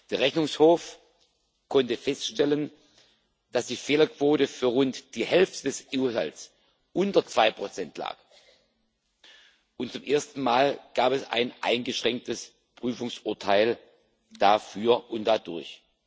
Der Rechnungshof konnte feststellen, dass die Fehlerquote für rund die Hälfte des EU Haushalts unter 2 lag, und zum ersten Mal gab es ein eingeschränktes Prüfungsurteil dafür und dadurch.